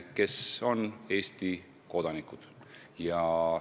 Nüüd on nad Eesti kodanikud.